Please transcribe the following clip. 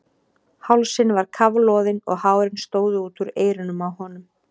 Hálsinn var kafloðinn og hárin stóðu út úr eyrunum á honum.